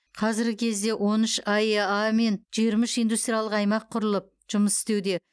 қазіргі кезде он үш аэа пен жиырма үш индустриялық аймақ құрылып жұмыс істеуде